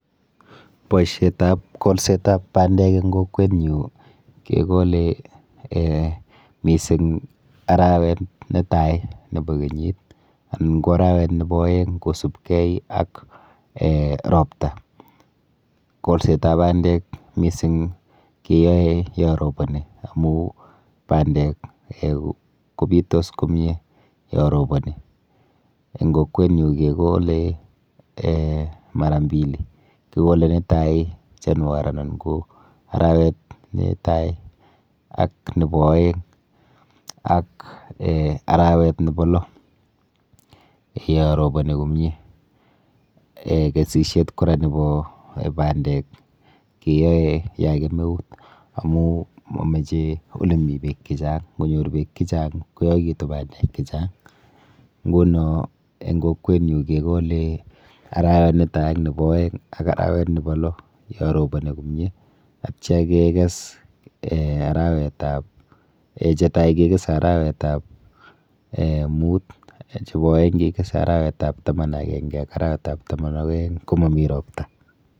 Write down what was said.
Boisietab golsetab bandek eng' kokwet nyu kegole um mising arawet netai nebo kenyit, anan go arawet nebo aeng' kosubkei ak um ropta. Kolsetab bandek mising keyae ya roboni, amuu bandek um kobitos komye ya roboni. Eng' kokwet nyu kegole um mara mbili. Kigole netai January anan ko arawet netai, ak nebo aeng', ak arawet nebo lo yo roboni komye. Kesishietab kora nebo bandek keyae ya kemeut amu mameche ole mii beek chechang'. Ngonyor beek chechang' koyaigitu bandek chechang'. Nguno eng' kokwet nyu, kegole arawet netai ak nebo aeng' ak arawet nebo lo yo roboni komye. Atya kekes um arawetab, che tai kekese arawetab um mut, chebo aeng' kekese arawetab taman agenge ak arawetab taman ak aeng' komomi ropta.